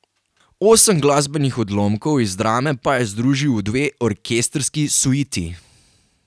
Osem glasbenih odlomkov iz drame pa je združil v dve orkestrski suiti.